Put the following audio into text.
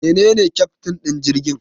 Wanene keftin din jirgin?